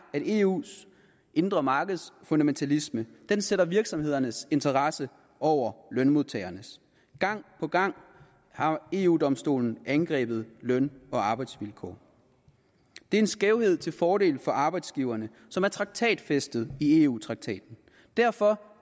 at eus indre markeds fundamentalisme sætter virksomhedernes interesser over lønmodtagernes gang på gang har eu domstolen angrebet løn og arbejdsvilkår det er en skævhed til fordel for arbejdsgiverne som er traktatfæstet i eu traktaten derfor